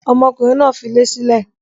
Ọmọkùnrin náà filé sílẹ̀?